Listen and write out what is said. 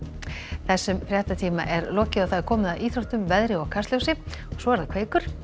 þessum fréttatíma er lokið og komið að íþróttum veðri og Kastljósi og svo er það Kveikur